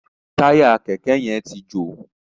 Táyà kẹ̀kẹ́ yén tí jo.